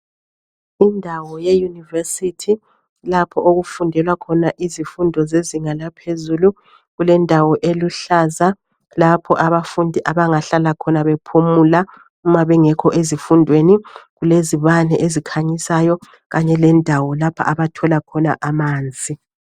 Indawo ye-university, lapho okufundelwa khona izifundo zezinga laphezulu. Kulendawo eluhlaza, lapho abafundi abangahlala khona, bephumula, uma bengekho ezifundweni. Kulezibani ezikhanyisayo, kanye lendawo, lapho abathola khona amanzi.